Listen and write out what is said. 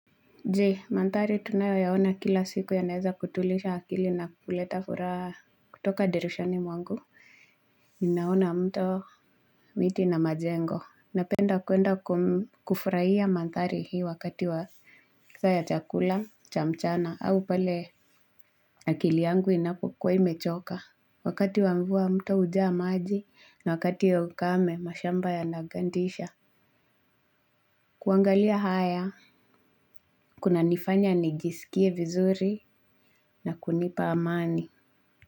Je, mandhari tunayoyaona kila siku yanaeza kutuliza akili na kuleta furaha kutoka dirishani mwangu. Ninaona mto miti na majengo. Napenda kuenda kufurahia mandhari hii wakati wa saa ya chakula, cha mchana au pale akili yangu inapokuwa imechoka. Wakati wa mvua mto hujaa maji na wakati wa ukame mashamba yanagandisha. Kuangalia haya, kunanifanya nijisikie vizuri na kunipa amani.